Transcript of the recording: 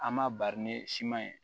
An m'a bari ni siman ye